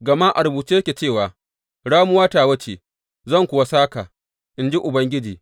Gama a rubuce yake cewa, Ramuwa tawa ce; zan kuwa sāka, in ji Ubangiji.